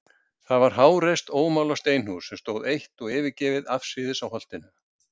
Það var háreist ómálað steinhús, sem stóð eitt og yfirgefið afsíðis á Holtinu.